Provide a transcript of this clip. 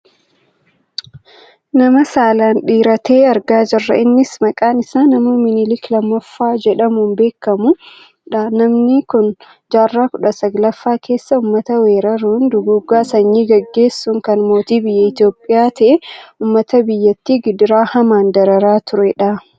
nama saalaan dhiira ta'e argaa jirra. Innis maqaan isaa nama Minilik lammaffaa jedhamuun beekkamudha. namni kun jaarraa kudha sagalaffaa keessa uummata weerraruun, duguuggaa sanyii geggeessuun kan mootii biyya Itoophiyaa ta'ee , uummata biyyattii gidiraa hamaan dararaa turedha.